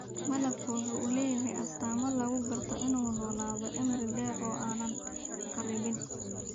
Malabku waxa uu leeyahay astaamo lagu garto in uu noolaado cimri dheer oo aan kharribin.